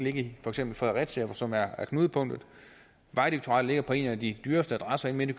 i for eksempel fredericia som er knudepunktet vejdirektoratet ligger på en af de dyreste adresser inde midt i